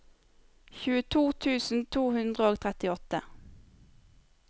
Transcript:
tjueto tusen to hundre og trettiåtte